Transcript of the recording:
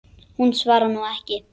Hún svarar nú ekki.